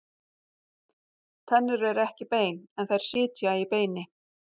Tennur eru ekki bein, en þær sitja í beini.